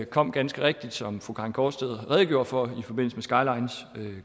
kom ganske rigtigt som fru karin gaardsted redegjorde for i forbindelse med skylines